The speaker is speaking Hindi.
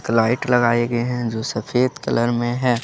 लाइट लगाए गए हैं जो सफेद कलर में है।